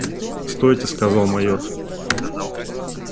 стойте сказал майор